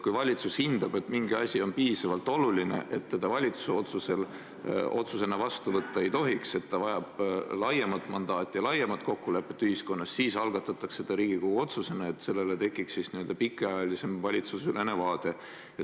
Kui valitsus hindab, et mingi asi on piisavalt oluline, et seda valitsuse otsusena vastu võtta ei tohiks, et see vajab laiemat mandaati ja laiemat kokkulepet ühiskonnas, siis algatatakse see Riigikogu otsusena, et tekiks n-ö pikemaajalisem valitsuseülene vaade.